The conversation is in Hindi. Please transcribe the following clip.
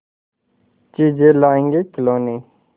चीजें लाएँगेखिलौने